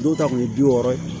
Dɔw ta kun ye bi wɔɔrɔ ye